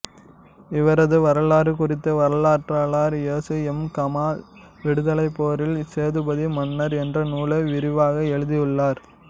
இவரது வரலாறு குறித்து வரலாற்றாளர் எசு எம் கமால் விடுதலைப்போரில் சேதுபதி மன்னர் என்ற நூலை விரிவாக எழுதியுள்ளார்